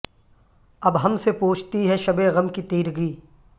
اب ہم سے پوچھتی ہے شب غم کی تیرگی